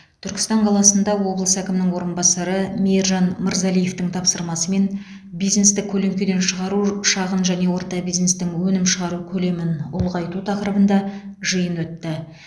түркістан қаласында облыс әкімінің орынбасары мейіржан мырзалиевтің тапсырмасымен бизнесті көлеңкеден шығару шағын және орта бизнестің өнім шығару көлемін ұлғайту тақырыбында жиын өтті